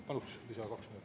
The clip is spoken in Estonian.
Paluksin lisaaega kaks minutit.